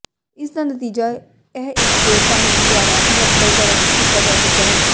ਇਸ ਦਾ ਨਤੀਜਾ ਇਹ ਇਕ ਹੋਰ ਕਾਨੂੰਨ ਦੁਆਰਾ ਮੁਅੱਤਲ ਕਰ ਕੀਤਾ ਜਾ ਸਕਦਾ ਹੈ